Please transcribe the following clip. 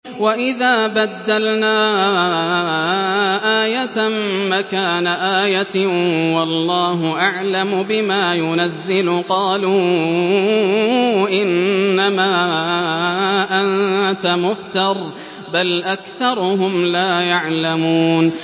وَإِذَا بَدَّلْنَا آيَةً مَّكَانَ آيَةٍ ۙ وَاللَّهُ أَعْلَمُ بِمَا يُنَزِّلُ قَالُوا إِنَّمَا أَنتَ مُفْتَرٍ ۚ بَلْ أَكْثَرُهُمْ لَا يَعْلَمُونَ